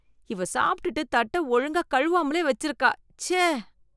இவ சாப்பிட்டுட்டு தட்ட ஒழுங்கா கழுவாமலே வெச்சிருக்கா ச்சஆ.